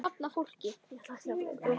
Er það sláandi há tala.